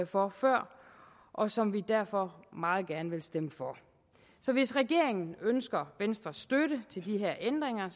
for før og som vi derfor meget gerne vil stemme for så hvis regeringen ønsker venstres støtte til de her ændringer